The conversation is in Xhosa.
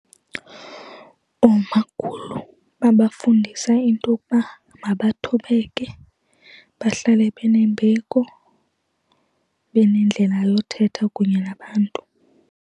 Oomakhulu babafundisa intokuba mabathobeke, bahlale benembeko, benendlela yothetha kunye nabantu.